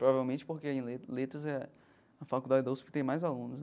Provavelmente porque em le letras é a faculdade da USP que tem mais alunos.